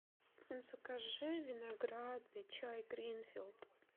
закажи виноградный чай гринфилд